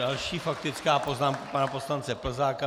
Další faktická poznámka pana poslance Plzáka.